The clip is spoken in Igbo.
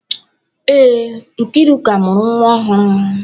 Ee, Nkeiruka mụrụ nwa ọhụrụ.